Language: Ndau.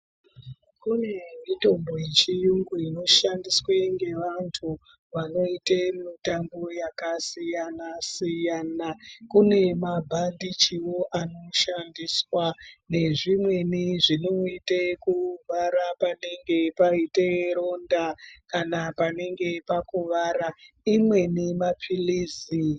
Kune mitombo yechiyungu unoshandiswe ngevantu vanoite mitambo yakasiyana-siyana. Kune mabhandichivo anoshandiswa nezvimweni zvinoite kuvhara panenge paita ronda kana panenge pakuvara, imweni maphirizi.